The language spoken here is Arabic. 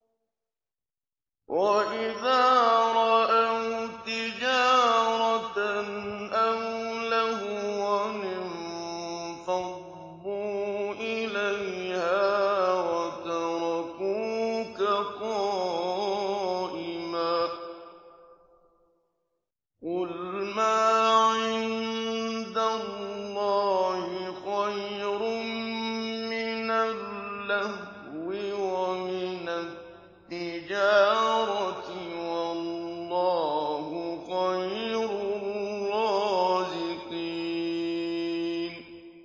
وَإِذَا رَأَوْا تِجَارَةً أَوْ لَهْوًا انفَضُّوا إِلَيْهَا وَتَرَكُوكَ قَائِمًا ۚ قُلْ مَا عِندَ اللَّهِ خَيْرٌ مِّنَ اللَّهْوِ وَمِنَ التِّجَارَةِ ۚ وَاللَّهُ خَيْرُ الرَّازِقِينَ